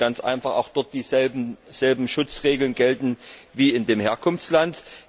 Es müssen ganz einfach dort dieselben Schutzregeln gelten wie in dem Herkunftsland.